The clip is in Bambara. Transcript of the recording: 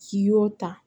K'i y'o ta